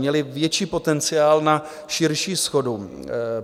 Měly větší potenciál na širší shodu.